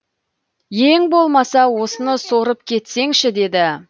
ең болмаса осыны сорып кетсеңші деді